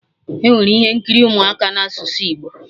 Enwere ihe nkiri ụmụaka na asụsụ Igbo